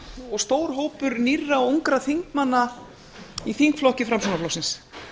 og stór hópur nýrra ungra þingmanna í þingflokki framsóknarflokksins